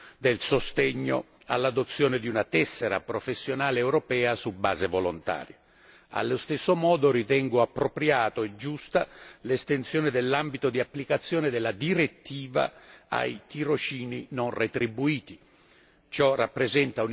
Sono quindi molto soddisfatto del sostegno all'adozione di una tessera professionale europea su base volontaria, allo stesso modo ritengo appropriata e giusta l'estensione dell'ambito di applicazione della direttiva ai tirocini non retribuiti.